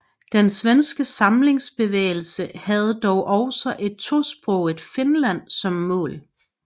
Den svenske samlingsbevægelse havde dog også et tosproget Finland som mål